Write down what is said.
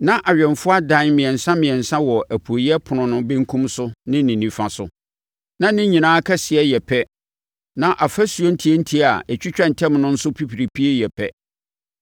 Na awɛmfoɔ adan mmiɛnsa mmiɛnsa wɔ apueeɛ ɛpono no benkum so ne nifa so; na ne nyinaa kɛseɛ yɛ pɛ na afasuo ntiantia a ɛtwitwa ntam no nso pipiripie yɛ pɛ.